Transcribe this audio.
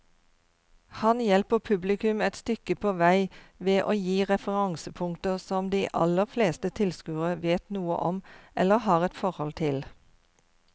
Han hjelper publikum et stykke på vei ved å gi referansepunkter som de aller fleste tilskuere vet noe om eller har et forhold til.